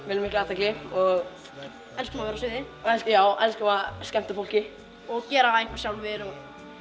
viljum mikla athygli og elskum að vera á sviði og skemmta fólki og gera eitthvað sjálfir og